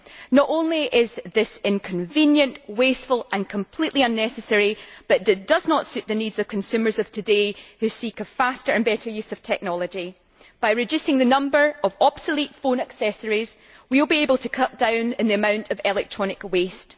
Not only is this inconvenient, wasteful and completely unnecessary, it does not suit the needs of consumers of today who seek a faster and better use of technology. By reducing the number of obsolete phone accessories we will be able to cut down on the amount of electronic waste.